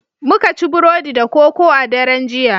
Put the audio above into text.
Muka ci Burodi da koko a daren jiya